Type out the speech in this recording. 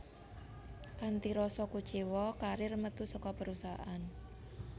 Kanthi rasa kuciwa Carrier metu saka perusahaan